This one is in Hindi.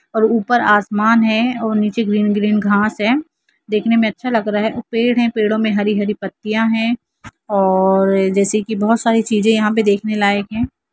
और ऊपर आसमान है और नीचे ग्रीन ग्रीन घास है दिखने मे अच्छा लग रहा है पेड़ है पेड़ो मे हरी-हरी पत्तियां है और जैसे की बहुत सारी चीजे यहाँ पे देखने के लायक है।